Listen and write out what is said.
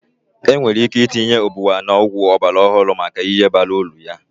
Enwere ike itinye ubwa na ọgwụ ọgbara ọhụrụ maka ihe bara uru ya.